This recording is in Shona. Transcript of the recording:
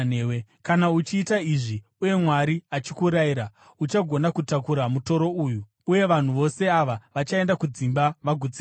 Kana uchiita izvi uye Mwari achikurayira, uchagona kutakura mutoro uyu, uye vanhu vose ava vachaenda kudzimba vagutsikana.”